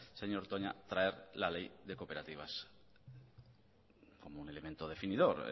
señor toña traer la ley de cooperativas como un elemento definidor